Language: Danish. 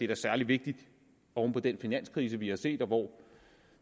da særlig vigtigt oven på den finanskrise vi har set og hvor